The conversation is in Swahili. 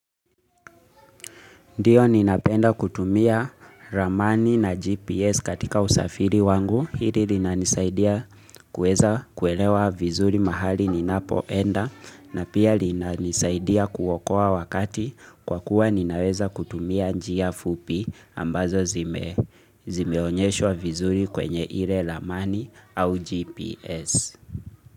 Ndiyo ninapenda kutumia ramani na GPS katika usafiri wangu, hili linanisaidia kuelewa vizuri mahali ninapoenda na pia linanisaidia kuokoa wakati kwa kuwa ninaweza kutumia njia fupi ambazo zimeonyeshwa vizuri kwenye ile ramani au GPS.